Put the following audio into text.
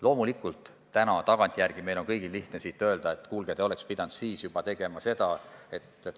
Loomulikult on täna tagantjärele meil kõigil lihtne öelda, et kuulge, te oleksite pidanud juba siis seda tegema.